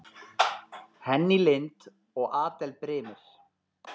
Henný Lind og Adel Brimir.